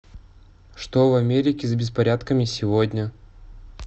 что в америке с беспорядками сегодня